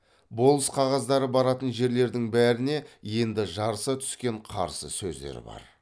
болыс қағаздары баратын жерлердің бәріне енді жарыса түскен қарсы сөздер бар